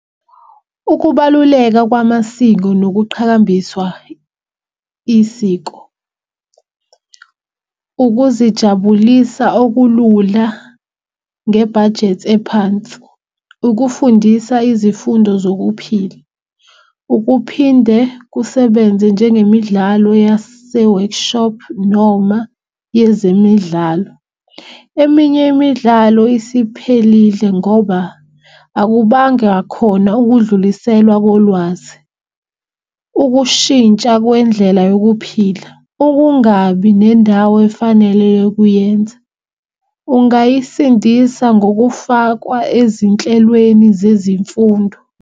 Ukubaluleka kwamasiko nokuqhakambiswa isiko, ukuzijabulisa okulula ngebhajethi ephansi. Ukufundisa izifundo zokuphila. Ukuphinde kusebenze njengemidlalo yase-workshop noma yezemidlalo. Eminye imidlalo isiphelile ngoba akubanga khona ukudluliselwa kolwazi. Ukushintsha kwendlela yokuphila, ukungabi nendawo efanele yokuyenza. Ungayisindisa ngokufakwa ezinhlelweni zezimfundo.